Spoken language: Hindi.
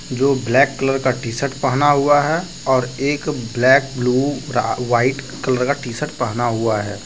जो ब्लैक कलर का टी_शर्ट पहना हुआ है और एक ब्लैक ब्लू व्हाइट कलर का टी_शर्ट पहना हुआ है।